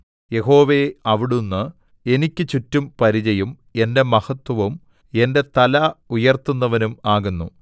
യഹോവേ അവിടുന്ന് എനിക്ക് ചുറ്റും പരിചയും എന്റെ മഹത്വവും എന്റെ തല ഉയർത്തുന്നവനും ആകുന്നു